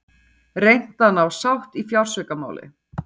Reynt að ná sátt í fjársvikamáli